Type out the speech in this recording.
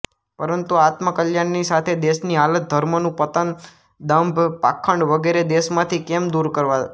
પરંતુ આત્મકલ્યાણની સાથે દેશની હાલત ધર્મનું પતન દંભ પાખંડ વગેરે દેશમાંથી કેમ દૂર કરવાં